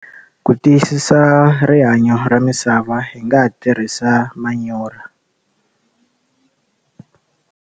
Ku tiyisisa rihanyo ra misava hi nga ha tirhisa manyorha.